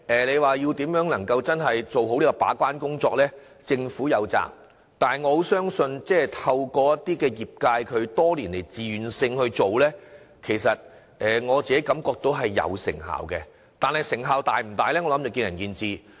政府有責任做好把關工作，但透過業界多年來自願這樣做，我感覺到是有成效的，但成效是否大，則見仁見智。